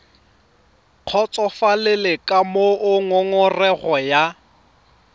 kgotsofalele ka moo ngongorego ya